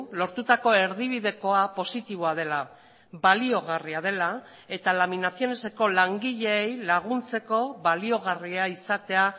lortutako erdibidekoa positiboa dela baliagarria dela eta laminacioneseko langileei laguntzeko baliagarria izatea